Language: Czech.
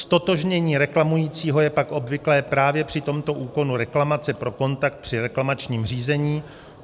Ztotožnění reklamujícího je pak obvyklé právě při tomto úkonu reklamace pro kontakt při reklamačním řízení.